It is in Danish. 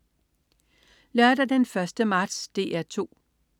Lørdag den 1. marts - DR 2: